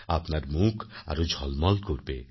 আপনার মুখ আরো ঝলমল করবে